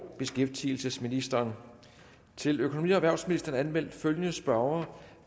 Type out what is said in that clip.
og beskæftigelsesministeren til økonomi og erhvervsministeren er anmeldt følgende spørgere